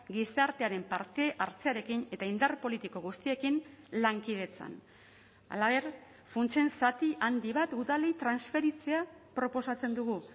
gizartearen parte hartzearekin eta indar politiko guztiekin lankidetzan halaber funtsen zati handi bat udalei transferitzea proposatzen dugu